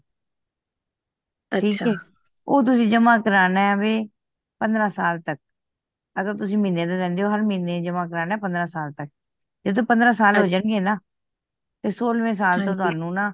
ਠੀਕ ਆ ਉਹ ਤੁਸੀ ਜਮਾ ਕਰਨਾ ਵੇ ਪੰਦਰਾਂ ਸਾਲ ਤੱਕ ਅਗਰ ਤੁਸੀ ਮਹੀਨੇ ਦੇ ਦੇਂਦੇ ਹੋ ਹਰ ਮਹੀਨੇ ਜਮਾ ਕਰਵਾਣਾ ਪੰਦਰਾਂ ਸਾਲ ਤੱਕ ਜਦੋ ਪੰਦਰਾਂ ਸਾਲ ਹੋ ਜਾਨ ਗਏ ਨਾ ਤੇ ਸੋਲ੍ਹਵੇਂ ਸੈੱਲ ਤੋਂ ਤੁਹਾਨੂੰ ਨਾ